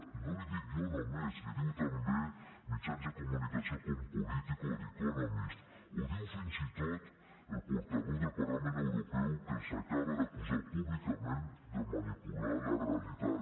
i no l’hi dic jo només l’hi diuen també mitjans de comunicació com politico o veu del parlament europeu que els acaba d’acusar públicament de manipular la realitat